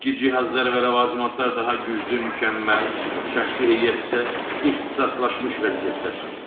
Oradakı cihazlar və ləvazimatlar daha güclü, mükəmməl, şəxsi heyət isə ixtisaslaşmış vəziyyətdədir.